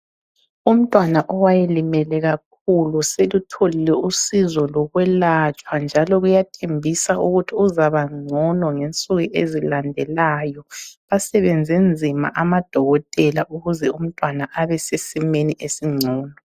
Umntwana owayelimele kakhulu selutholile usizo lokwelatshwa njalo kuyathembisa ukuthi uzabangcono ngensuku ezilandelayo. Basebenze nzima amadokotela ukuze umntwana abe sesimeni esingcono.